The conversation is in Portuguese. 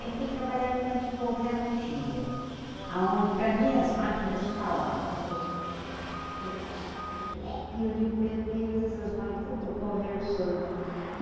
Aí fui trabalhar numa tipografia, aonde para mim as máquinas falavam, elepe, lepe, lepe, lepe, eu digo, meu Deus, essas máquinas estão conversando.